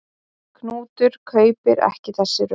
Knútur kaupir ekki þessi rök.